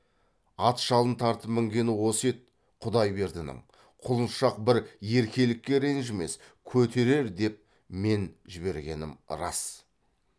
ат жалын тартып мінгені осы еді құдайбердінің құлыншақ бір еркелікке ренжімес көтерер деп мен жібергенім рас